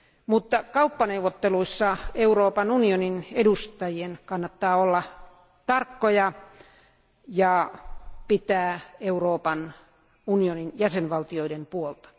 Mutta kauppaneuvotteluissa Euroopan unionin edustajien kannattaa olla tarkkoja ja pitää Euroopan unionin jäsenvaltioiden puolta.